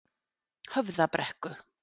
Höfðabrekku